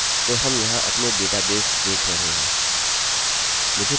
अच्छा तो हम यहाँ अपने डेटाबेसेस देख रहे हैं